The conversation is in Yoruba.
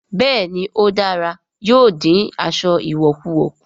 Bẹ́ẹ̀ ni ó dára, yóò dín aṣọ ìwọ̀kuwọ̀ kù